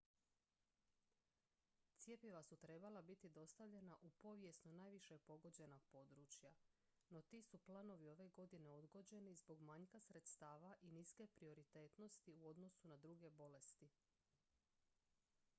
cjepiva su trebala biti dostavljena u povijesno najviše pogođena područja no ti su planovi ove godine odgođeni zbog manjka sredstava i niske prioritetnosti u odnosu na druge bolesti